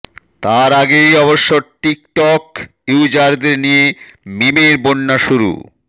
তার আগেই অবশ্য টিকটক ইউজারদের নিয়ে মিমের বন্যা শুরু